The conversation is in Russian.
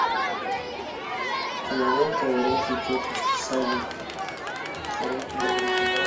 кинолента уроки тетушки совы уроки доброты